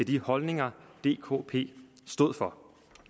de holdninger dkp stod for